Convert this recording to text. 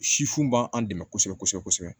Sifinw b'an dɛmɛ kosɛbɛ kosɛbɛ